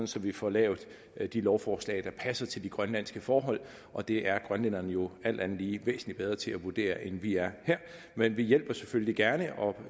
så vi får lavet de lovforslag der passer til de grønlandske forhold og det er grønlænderne jo alt andet lige væsentlig bedre til at vurdere end vi er her men vi hjælper selvfølgelig gerne og